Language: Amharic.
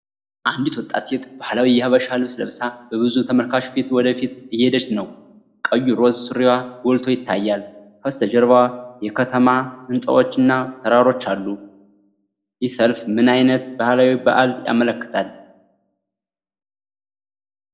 አንዲት ወጣት ሴት ባህላዊ የሀበሻ ልብስ ለብሳ፣ በብዙ ተመልካች ፊት ወደ ፊት እየሄደች ነው። ቀዩ ሮዝ ሱሪዋ ጎልቶ ይታያል። ከበስተጀርባው የከተማ ሕንፃዎችና ተራሮች አሉ። ይህ ሰልፍ ምን ዓይነት ባህላዊ በዓልን ያመለክታል?